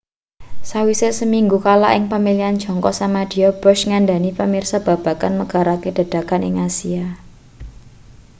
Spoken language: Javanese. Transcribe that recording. sawise seminggu kalah ing pamilihan jangka samadya bush ngandhani pamirsa babagan megarake dedagangan ing asia